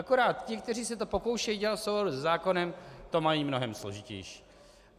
Akorát ti, kteří se to pokoušejí dělat v souladu se zákonem, to mají mnohem složitější.